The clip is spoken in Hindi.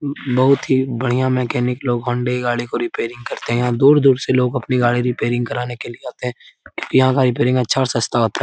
बहुत ही बढिया मैकेनिक लोग हौंडा की गाड़ी की रिपेयरिंग करते हैं और दूर दूर से लोग अपनी गाड़ी रिपेयरिंग कराने के लिए आते हैं यहाँ का रिपेयरिंग अच्छा और सस्ता होता है ।